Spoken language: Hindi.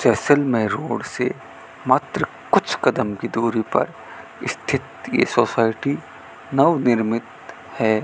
जैसलमेर रोड से मात्र कुछ कदम की दूरी पर स्थित ये सोसाइटी नवनिर्मित है।